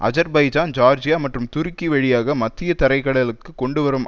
Azerbaijan Georgia மற்றும் துருக்கி வழியாக மத்திய தரை கடலுக்கு கொண்டு வரும்